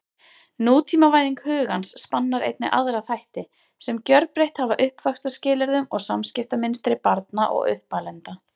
Nútímavæðing hugans spannar einnig aðra þætti, sem gjörbreytt hafa uppvaxtarskilyrðum og samskiptamynstri barna og uppalenda.